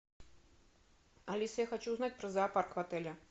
алиса я хочу узнать про зоопарк в отеле